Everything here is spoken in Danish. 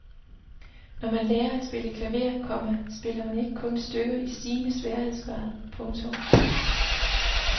Når man lærer at spille klaver, komma spiller man ikke kun stykker i stigende sværhedsgrad. punktum